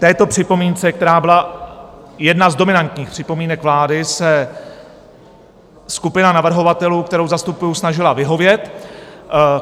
Této připomínce, která byla jedna z dominantních připomínek vlády, se skupina navrhovatelů, kterou zastupuji, snažila vyhovět.